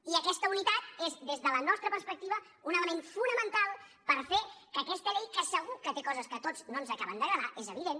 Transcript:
i aquesta unitat és des de la nostra perspectiva un element fonamental per fer que aquesta llei que segur que té coses que a tots no ens acaben d’agradar és evident